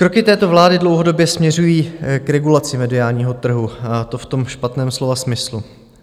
Kroky této vlády dlouhodobě směřují k regulaci mediálního trhu, a to v tom špatném slova smyslu.